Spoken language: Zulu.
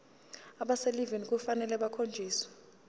abaselivini kufanele bakhonjiswe